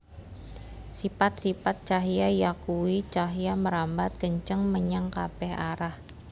Sipat sipat cahya yakuwi cahya mrambat kenceng menyang kabèh arah